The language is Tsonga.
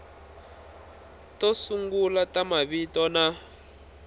to sungula ta mavito na